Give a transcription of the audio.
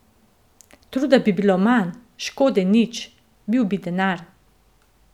Truda bi bilo manj, škode nič, bil bi denar.